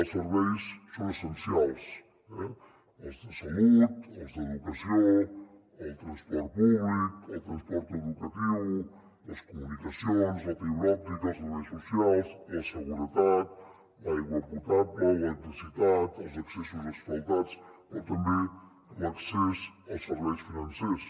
els serveis són essencials eh els de salut els d’educació el transport públic el transport educatiu les comunicacions la fibra òptica els serveis socials la seguretat l’aigua potable l’electricitat els accessos asfaltats però també l’accés als serveis financers